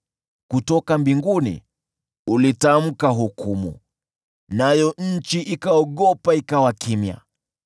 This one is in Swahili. Kutoka mbinguni ulitamka hukumu, nayo nchi ikaogopa, ikawa kimya: